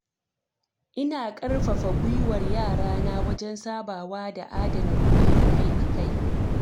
Ina ƙarfafa guiwar yarana wajen sabawa da adana kuɗi akai-akai.